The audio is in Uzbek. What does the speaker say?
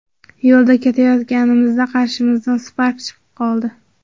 Yo‘lda ketayotganimizda qarshimizdan Spark chiqib qoldi.